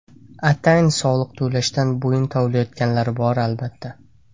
Atayin soliq to‘lashdan bo‘yin tovlaydiganlar bor, albatta.